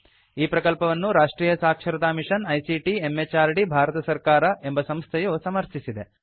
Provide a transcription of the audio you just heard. ಈ ಪ್ರಕಲ್ಪವನ್ನು ರಾಷ್ಟ್ರಿಯ ಸಾಕ್ಷರತಾ ಮಿಷನ್ ಐಸಿಟಿ ಎಂಎಚಆರ್ಡಿ ಭಾರತ ಸರ್ಕಾರ ಎಂಬ ಸಂಸ್ಥೆಯು ಸಮರ್ಥಿಸಿದೆ